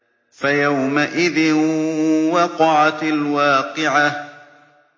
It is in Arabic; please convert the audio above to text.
فَيَوْمَئِذٍ وَقَعَتِ الْوَاقِعَةُ